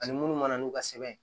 Ani munnu mana n'u ka sɛbɛn ye